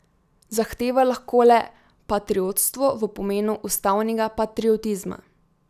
Zahteva lahko le patriotstvo v pomenu ustavnega patriotizma.